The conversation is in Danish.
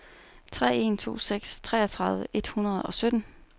tre en to seks treogtredive et hundrede og sytten